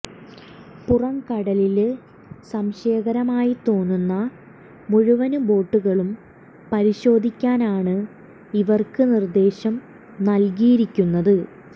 പുറംകടലില് സംശയകരമായി തോന്നുന്ന മുഴുവന് ബോട്ടുകളും പരിശോധിക്കാനാണ് ഇവര്ക്ക് നിര്ദേശം നവല്കിയിരിക്കുന്നത്